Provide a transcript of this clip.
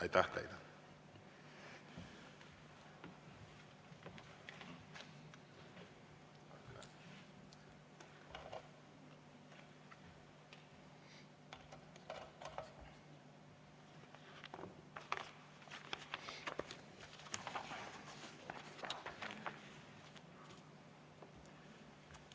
Aitäh teile!